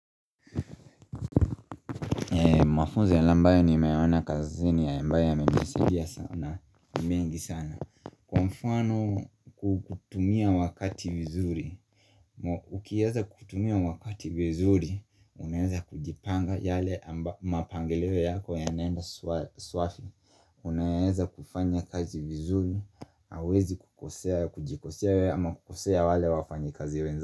Mwafunzi ya ambayo ni meona kazini ya ambayo ya menisadia sana ni mengi sana Kwa mfano kukutumia wakati vizuri Ukiaza kutumia wakati vizuri, unaeza kujipanga yale mapangeleo yako ya naenda swafi Unaeza kufanya kaji vizuri, hawezi kukosea, kujikosea ama kukosea wale wafanyi kazi wenza.